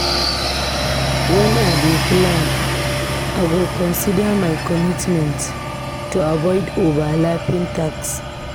Wen I dey plan, I go consider my commitments to avoid overlapping tasks.